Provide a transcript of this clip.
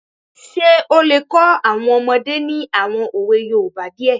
Ṣé ó lè kọ́ àwọn ọmọdé ní àwọn òwe yoòbá díẹ̀?